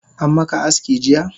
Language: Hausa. Ammaka aski jiya?